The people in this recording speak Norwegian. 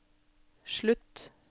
slutt